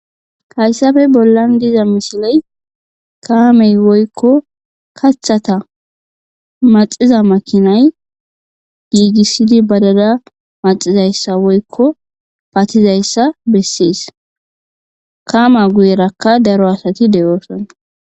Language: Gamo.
kayssafe bollan diza misiley kaamey woykko kathata maxiza makinay giigissidi badada maxizayssa woykko patizayssa bessees kama guyerakka daro asati de7ooson